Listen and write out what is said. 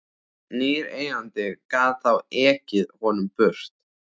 Nýr eigandi gat þá ekið honum burt.